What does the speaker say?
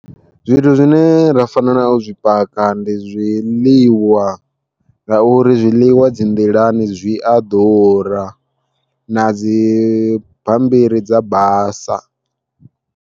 Zwithu zwine ra fanela u zwi paka ndi zwiḽiwa, ngauri zwiḽiwa dzi nḓilani zwi a ḓura na dzi bammbiri dza basa.